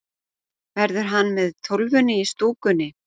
Verður hann með Tólfunni í stúkunni?